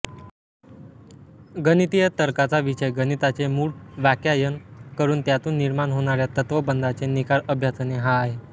गणितीय तर्काचा विषय गणिताचे मूळवाक्यायन करून त्यातून निर्माण होणाऱ्या तत्त्वबंधाचे निकाल अभ्यासणे हा आहे